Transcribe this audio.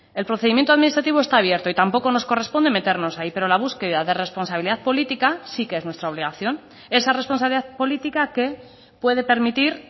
el procedimiento administrativo está abierto y tampoco nos corresponde meternos ahí pero la búsqueda de responsabilidad política sí que es nuestra obligación esa responsabilidad política que puede permitir